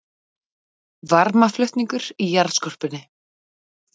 Varmaflutningur í jarðskorpunni